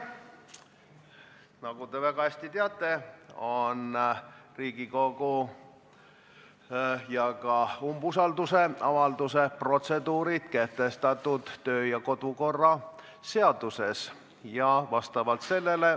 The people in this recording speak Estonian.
Nagu te väga hästi teate, on Riigikogu protseduurid, ka umbusalduse avaldamise protseduurid kehtestatud kodu- ja töökorra seaduses.